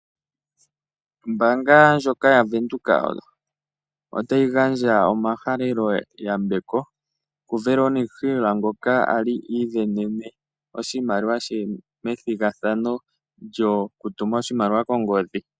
Ombaanga ndjoka yaWindhoek otayi gandja omahalelo yambeko kuVeronica Hill ngoka ali iisindanene oshimaliwa shaye methigathano lyokutuma oshimaliwa kongodhi.